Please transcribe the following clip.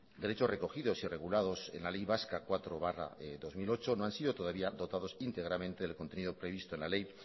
derechos recogidos y regulados en la ley vasca cuatro barra dos mil ocho no han sido todavía dotados íntegramente del contenido previsto en la ley